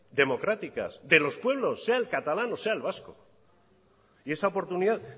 democráticas de los pueblos sea el catalán o sea el vasco y esa oportunidad